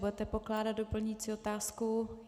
Budete pokládat doplňující otázku?